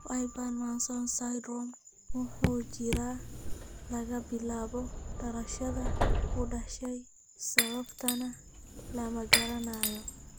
Wyburn Mason's syndrome wuxuu jiraa laga bilaabo dhalashada (ku dhashay) sababtana lama garanayo.